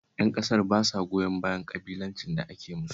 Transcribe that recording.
Ƴan ƙasar ba sa goyon bayan ƙabilancin da ake musu